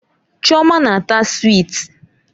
Chioma na-ata swiiti.